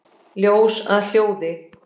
Ljós að hljóði?